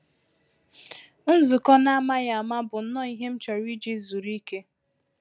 Nzukọ n’ámàghị áma bụ nnọọ ihe m chọrọ iji zuru ike